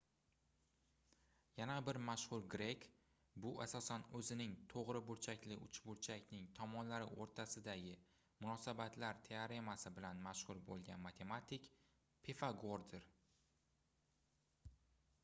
yana bir mashhur grek bu asosan oʻzining toʻgʻri burchakli uchburchakning tomonlari oʻrtasidagi munosabatlar teoremasi bilan mashhur boʻlgan matematik pifagordir